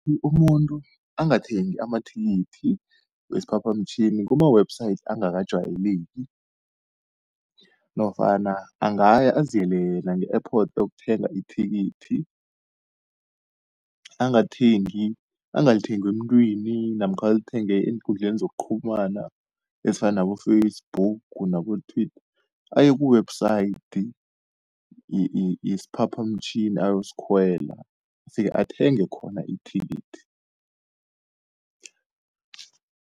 Umuntu angathengi amathikithi wesiphaphamtjhini kuma-website angakajayeleki, nofana angaya aziyele yena nge-airport ayokuthenga ithikithi. Angalithengi emuntwini namkha alithenge eenkundleni zokuqhumana ezifana nabo-Facebook nabo-Twitter, aye ku-website yesiphaphamtjhini ayosikhwela afike athenge khona ithikithi.